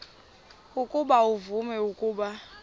ukuba uvume ukuba